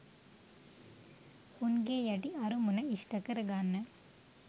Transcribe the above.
උන්ගේ යටි අරමුණ ඉෂ්ට කරගන්න.